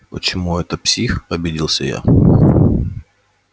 почему это псих обиделся я